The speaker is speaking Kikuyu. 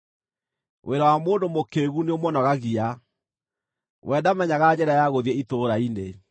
Wĩra wa mũndũ mũkĩĩgu nĩũmũnogagia; we ndamenyaga njĩra ya gũthiĩ itũũra-inĩ.